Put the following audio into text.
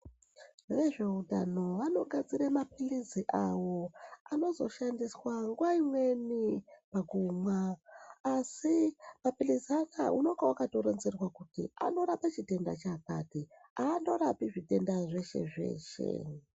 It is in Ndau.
Vezveutano vakagadzira mapilisi avo anozoshandiswa nguwa imweni pakumwa asi mapilisi anaya unenge wakatoronzerwa kuti anorape chitenda chakati. Aangorapi zvitenda zveshe zveshe